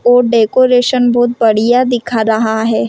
और डेकोरेशन बहुत बढ़िया दिखा रहा है ।